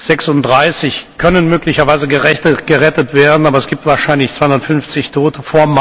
36 können möglicherweise gerettet werden, aber es gibt wahrscheinlich 250 Tote.